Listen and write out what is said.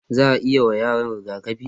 za'ayi wa yaran rigakafi